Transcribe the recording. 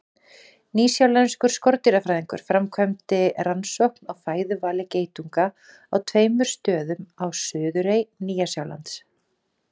Nýsjálenskur skordýrafræðingur framkvæmdi rannsókn á fæðuvali geitunga á tveimur stöðum á suðurey Nýja-Sjálands.